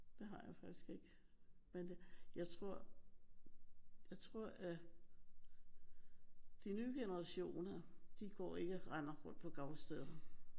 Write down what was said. Det har jeg faktisk ikke. Men det jeg tror jeg tror at de nye generationer de går ikke og render rundt på gravstederne